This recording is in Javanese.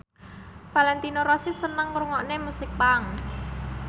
Valentino Rossi seneng ngrungokne musik punk